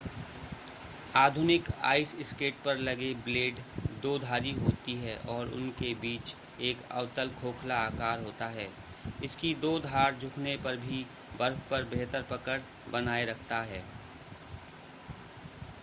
आधुनिक ice skate पर लगे ब्लेड दोधारी होती है और उनके बीच एक अवतल खोखला आकार होता है इसकी दो धार झुकने पर भी बर्फ पर बेहतर पकड़ बनाए रखता है